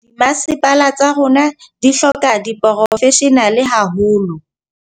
Dimasepala tsa rona di hloka diporofeshenale haholo.